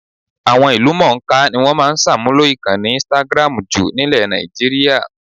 Àwọn ìlúmọ̀ńká ni wọ́n máa ń ṣàmúlò ìkànnì instagram jù nílẹ̀ Nàìjííríà